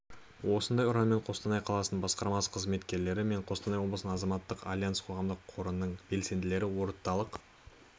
осындай ұранмен қостанай қаласының басқармасы қызметкерлері мен қостанай облысының азаматтық альянсы қоғамдық қорының белсенділері орталық